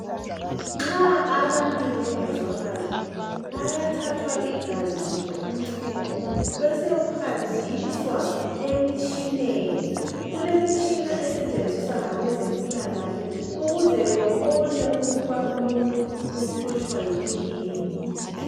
Nxa abantu bengezwa kahle bayathathwa igazi kumbe umchemo besekuhanjiswa emitshineni. Kulemitshina esetshenziswa ngabezempilakahle ukuze bebone ukuba umuntu uhlutshwa yikuyini